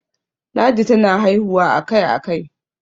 ladi tana haihuwa a Kai a Kai